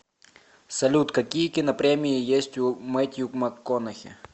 салют какие кинопремии есть у мэттью макконахи